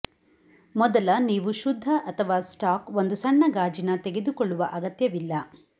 ಮೊದಲ ನೀವು ಶುದ್ಧ ಅಥವಾ ಸ್ಟಾಕ್ ಒಂದು ಸಣ್ಣ ಗಾಜಿನ ತೆಗೆದುಕೊಳ್ಳುವ ಅಗತ್ಯವಿಲ್ಲ